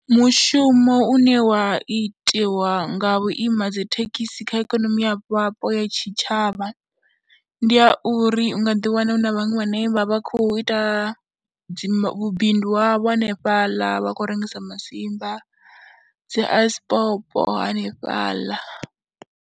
Mushumo une wa itiwa nga vhuima dzi thekhisi kha ikonomi ya vhapo ya tshitshavha, ndi ya uri u nga ḓiwana hu na vhaṅwe vhane vha vha khou ita dzi vhubindu havho hanefhaḽa vha khou rengisa masimba, dzi ice pop hanefhaḽa.